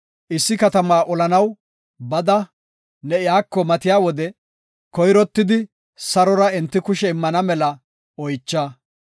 Issi katamaa olanaw bada ne iyako matiya wode, koyrottidi sarora enti kushe immana mela oycha.